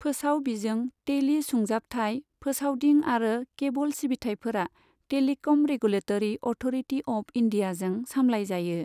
फोसाव बिजों, टेलि सुंजाबथाय, फोसावदिं आरो केबल सिबिथायफोरा टेलिकम रेगुलेतरि अथ'रटी अफ इन्डियाजों सामलाय जायो।